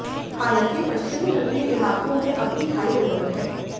हालांकि पश्चिमी तटीय इलाकों में अब भी हाई अलर्ट है